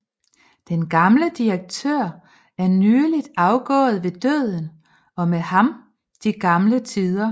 Den gamle direktør er nyligt afgået ved døden og med ham de gamle tider